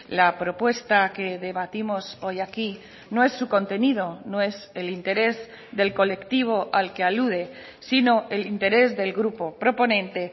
la propuesta que debatimos hoy aquí no es su contenido no es el interés del colectivo al que alude sino el interés del grupo proponente